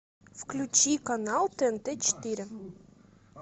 включи канал тнт четыре